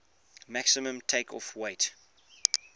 maximum takeoff weight